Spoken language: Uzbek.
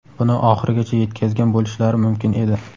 buni oxirigacha yetkazgan bo‘lishlari mumkin edi.